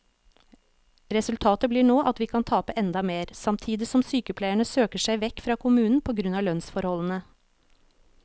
Resultatet blir nå at vi kan tape enda mer, samtidig som sykepleierne søker seg vekk fra kommunen på grunn av lønnsforholdene.